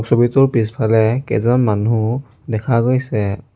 ছবিটোৰ পিছফালে কেইজন মানুহ দেখা গৈছে।